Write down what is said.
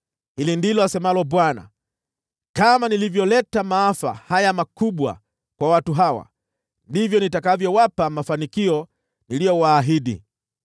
“Hili ndilo asemalo Bwana : Kama nilivyoleta maafa haya makubwa kwa watu hawa, ndivyo nitakavyowapa mafanikio niliyowaahidi.